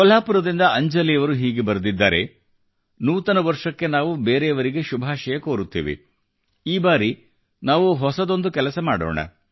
ಕೊಲ್ಹಾಪುರದಿಂದ ಅಂಜಲಿಯವರು ಹೀಗೆ ಬರೆದಿದ್ದಾರೆ ನೂತನ ವರ್ಷಕ್ಕೆ ನಾವು ಬೇರೆಯವರಿಗೆ ಶುಭಾಷಯ ಕೋರುತ್ತೇವೆ ಈ ಬಾರಿ ನಾವು ಹೊಸದೊಂದು ಕೆಲಸ ಮಾಡೋಣ